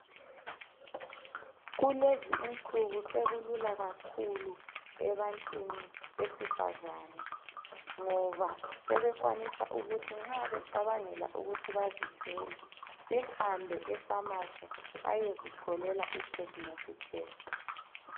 Kulezi insuku sekulula kakhulu ebantwini besifazane ngoba sebekwanisa ukuthi nxa becabangela ukuthi bazithwele behambe e pharmacy bayozitholela I pregnancy test